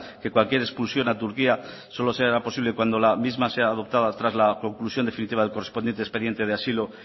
que cualquier expulsión a turquía solo sea posible cuando la misma sea adoptada tras la conclusión definitiva del correspondiente expediente de asilo